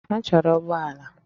Ha chọrọ ụgbọ ala